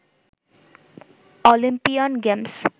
Olympian games